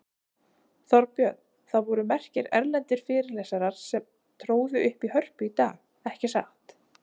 Þorbjörn, það voru merkir erlendir fyrirlesarar sem tróðu upp í Hörpu í dag, ekki satt?